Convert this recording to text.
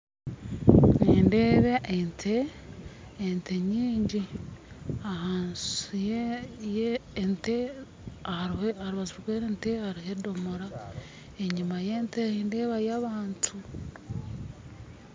Nindeeba ente ente nyingi, ahansi ye yente ahari aharubaju yente hariho edomora enyima yente nindeebayo abantu